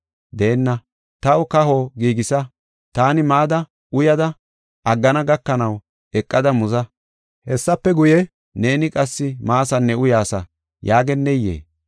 Deenna, ‘Taw kaho giigisa; taani mada, uyada aggana gakanaw eqada muza. Hessafe guye, neeni qassi maasanne uyaasa’ yaageneyee?